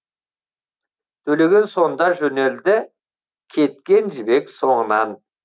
төлеген сонда жөнелді кеткен жібек соңынан